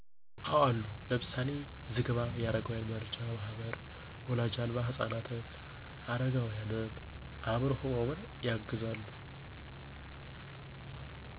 አወ አሉ። ለምሳሌ፦ ዝግባ የአረጋውያን መርጃ ማዕከል ወላጅ አልባ ህፃናትን፣ አረጋውያንን፣ አምዕሮ ህሙማንን ያግዛሉ።